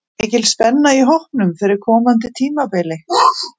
Er mikil spenna í hópnum fyrir komandi tímabili?